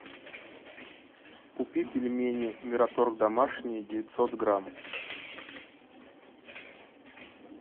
купи пельмени мираторг домашние девятьсот грамм